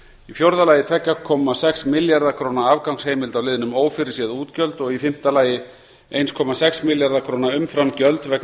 í fjórða lagi tveggja komma sex milljarða króna afgangsheimild á liðnum ófyrirséð útgjöld og í fimmta lagi eins komma sex milljarða króna umframgjöld vegna